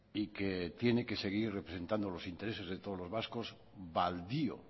y que tiene que seguir representando los intereses de todos los vascos baldío